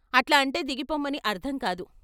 అట్లా అంటే దిగిపొమ్మని అర్థంకాదు.